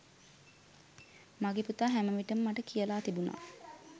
මගේ පුතා හැම විටම මට කියලා තිබුණා